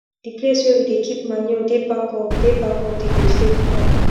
the place wey we dey keep manure dey back of dey back of the vegetable farm